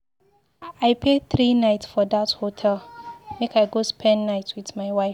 I pay three night for dat hotel make I go spend time wit my wife.